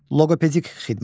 Loqopedik xidmət.